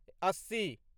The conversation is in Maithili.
अस्सी